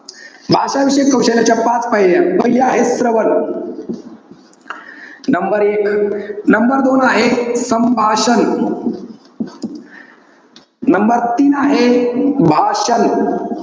भाषाविषयक कौशल्याच्या पाच पायऱ्या. पहिल्या, आहे श्रवण. number एक. number दोन आहे, संभाषण. number तीन आहे, भाषण.